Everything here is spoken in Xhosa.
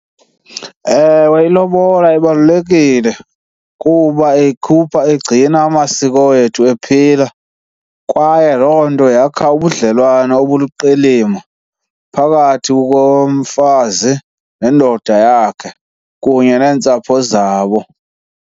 Ewe, ilobola ibalulekile kuba ikhupha, igcina amasiko wethu ephila. Kwaye loo nto yakha ubudlelwane obuliqilima phakathi komfazi nendoda yakhe kunye neentsapho zabo.